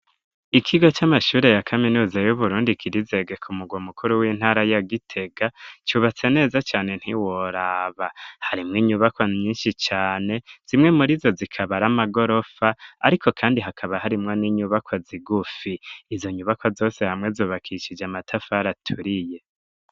Ikigo c'amashure ya kaminuza y'Uburundi kiri i Zege ku mugwa mukuru w'intara ya Gitega, cubatse neza cane ntiworaba. Harimwo inyubakwa nyinshi cane zimwe muri zo zikaba ari amagorofa, ariko kandi hakaba harimwo n'inyubakwa zigufi, izo nyubaka zose hamwe zubakishije amatafar aturiye.